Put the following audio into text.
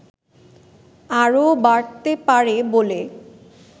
আরও বাড়তে পারে বলে